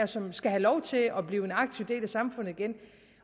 som skal have lov til at blive en aktiv del af samfundet igen